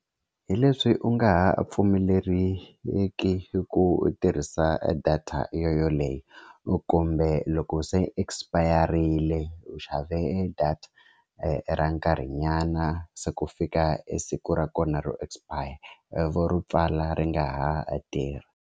Hi leswi u nga ha pfumeleriki ku u tirhisa data yo yoyoleyo u kumbe loko se expire-rile u xave data ra nkarhinyana se ku fika e siku ra kona ro expire vo ri pfala ri nga ha tirhi.